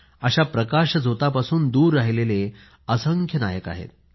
अशा प्रकाश झोतापासून दूर राहिलेले असंख्य नायक आहेत